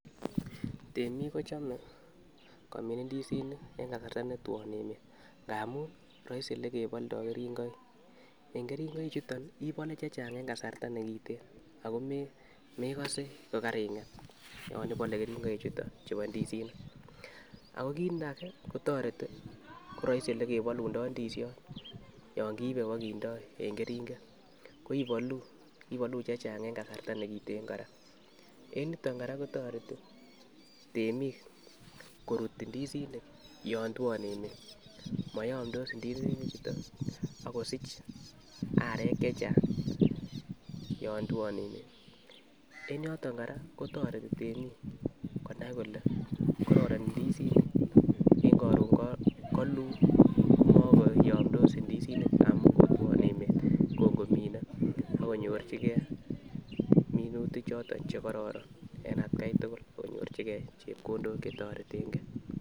Temik kochome komin indisinik en kasarta netwon emet ngamun roisi ye keboldo keringoik, en keringoik chuton ibole che chechang en kasarta nekiten ako mekose kokaringet yon ibole keringoik chuton chubo indisinik ako kit age kotoreti ko roisi yekebolundo indisiot yon kiibe bokindo en keringet ko iboluu chechang en kasarta nekiten koraa. En yuton koraa kotoreti temik korut indisinik yon twon emet moyomdos indisinik chuton ak kosich arek chechang yon twon emet, en yoton koraa kotoreti temik konai kole kororon indisinik en korun koluu ko mokoyomdos indisinik amun kotwon emet kon komine ak konyorchigee minutik choton chekororon en atgai tukuk ak konyorchigee chepkondok chetoreten gee.